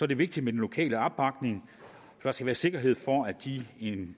det vigtigt med den lokale opbakning der skal være sikkerhed for at de